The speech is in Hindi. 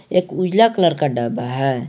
एक उजला कलर का डब्बा है।